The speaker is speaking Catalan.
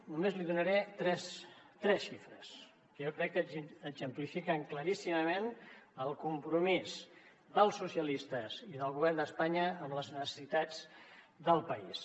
només li donaré tres xifres que jo crec que exemplifiquen claríssimament el compromís dels socialistes i del govern d’espanya amb les necessitats del país